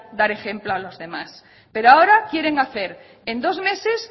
dar ejemplo a los demás pero ahora quieren hacer en dos meses